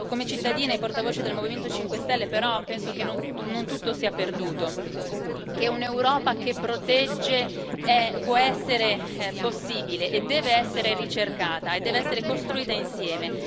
Io, come cittadina e portavoce del Movimento 5 Stelle, però penso che non tutto sia perduto, che un'Europa che protegge può essere possibile e deve essere ricercata e deve essere costruita insieme.